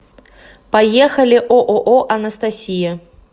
поехали ооо анастасия